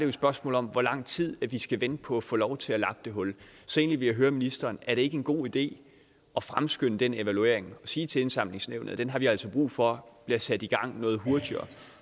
et spørgsmål om hvor lang tid vi skal vente på at få lov til at lappe det hul så jeg ville egentlig høre ministeren er det ikke en god idé at fremskynde den evaluering og sige til indsamlingsnævnet at den har vi altså brug for bliver sat i gang noget hurtigere